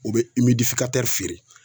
U bɛ feere